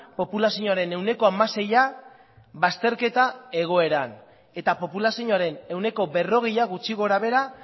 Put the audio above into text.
populazioaren ehuneko hamaseia bazterketa egoeran eta populazioaren ehuneko berrogeia gutxi gora behera